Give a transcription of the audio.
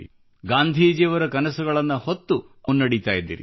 ಗಾಂಧೀಜಿಯವರ ಕನಸುಗಳನ್ನು ಹೊತ್ತು ಮುನ್ನಡೆಯುತ್ತಿದ್ದೀರಿ